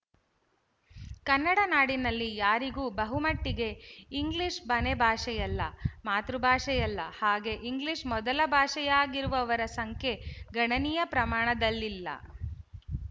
ಕನ್ನಡ ನಾಡಿನಲ್ಲಿ ಯಾರಿಗೂ ಬಹುಮಟ್ಟಿಗೆ ಇಂಗ್ಲಿಶ ಮನೆಭಾಷೆಯಲ್ಲ ಮಾತೃಭಾಷೆಯಲ್ಲ ಹಾಗೆ ಇಂಗ್ಲಿಶ ಮೊದಲ ಭಾಷೆಯಾಗಿರುವವರ ಸಂಖ್ಯೆ ಗಣನೀಯ ಪ್ರಮಾಣದಲ್ಲಿಲ್ಲ